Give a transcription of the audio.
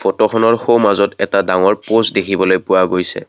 ফটোখনৰ সোঁমাজত এটা ডাঙৰ প'ষ্ট দেখিবলৈ পোৱা গৈছে।